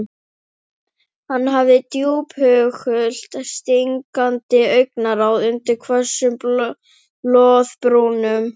Hann hafði djúphugult stingandi augnaráð undir hvössum loðbrúnum.